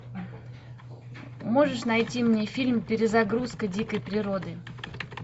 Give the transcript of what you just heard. можешь найти мне фильм перезагрузка дикой природы